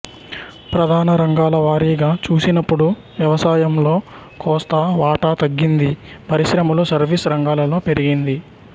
ప్రధాన రంగాల వారీగా చూసినపుడు వ్యవసాయంలో కోస్తా వాటా తగ్గింది పరిశ్రమలు సర్వీస్ రంగాలలో పెరిగింది